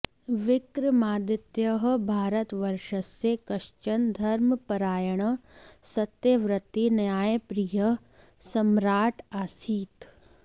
विक्रमादित्यः भारतवर्षस्य कश्चन धर्मपरायणः सत्यव्रती न्यायप्रियः सम्म्राट् आसीत्